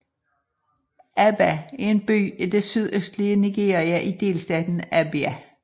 Aba er en by i det sydøstlige Nigeria i delstaten Abia